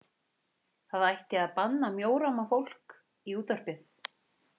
Það ætti að banna mjóróma fólk í útvarpið.